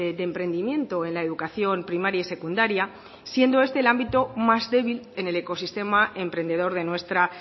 de emprendimiento en la educación primaria y secundaria siendo este el ámbito más débil en el ecosistema emprendedor de nuestra